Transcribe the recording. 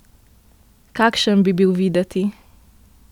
Kakšen bi bil videti?